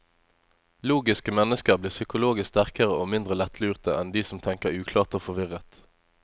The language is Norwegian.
Logiske mennesker blir psykologisk sterkere og mindre lettlurte enn de som tenker uklart og forvirret.